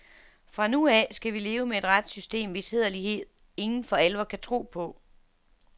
Fra nu af skal vi leve med et retssystem, hvis hæderlighed ingen for alvor kan tro på.